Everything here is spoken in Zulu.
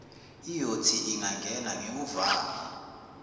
iyothi ingangena ngiwuvale